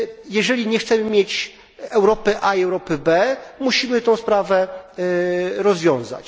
Jeżeli nie chcemy mieć Europy A i Europy B, musimy tę sprawę rozwiązać.